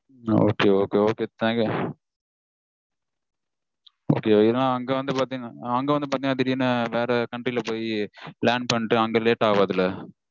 Okay okay thank you. Okay ஏன்னா அங்க வந்து பாத்தீங்கனா அங்க வந்து பாத்தீங்கனா திடீர்னு வேற country -ல போய் land பண்ணிட்டு அங்க late ஆகாதுல?